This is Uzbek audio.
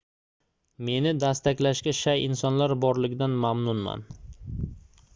meni dastaklashga shay insonlar borligidan mamnunman